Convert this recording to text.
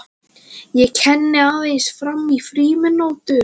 Ég kenni aðeins fram í frímínútur.